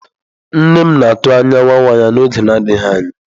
Nne m na-atụ anya nwa nwa ya n'oge adịghị anya.